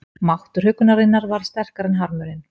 Máttur huggunarinnar varð sterkari en harmurinn.